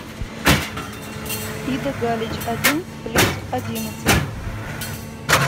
ида галич один плюс одиннадцать